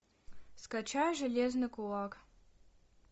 скачай железный кулак